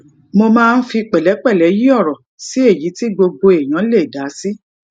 mo máa ń fi pẹlẹpẹlẹ yí ọrọ sí èyí tí gbogbo èèyàn lè dá sí